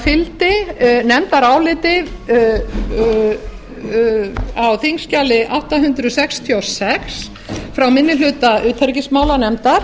fylgdi nefndaráliti á þingskjali átta hundruð sextíu og sex frá minni hluta utanríkismálanefndar